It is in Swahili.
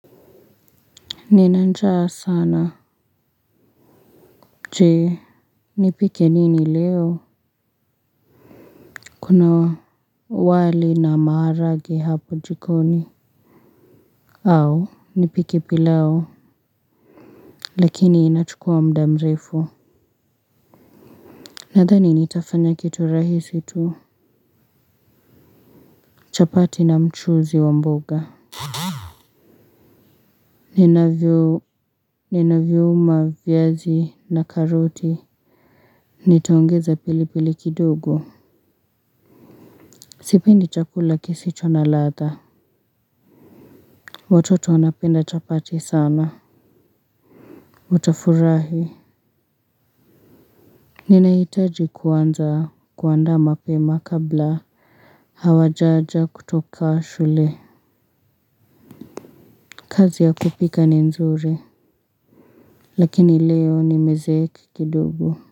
Nina njaa sana. Je. Nipike nini leo? Kuna wali na maharage hapo jikoni. Au. Nipike pilao. Lakini inachukua muda mrefu. Nadhani nitafanya kitu rahisi tu. Chapati na mchuzi wa mboga. Ninavyuma viazi na karoti. Nitaongeza pili pili kidogo. Sipendi chakula kisicho na ladha. Watoto wanapenda chapati sana. Utafurahi. Ninahitaji kuanza kuanda mapema kabla hawajaja kutoka shule. Kazi ya kupika ni nzuri. Lakini leo nimezeeka kidogo.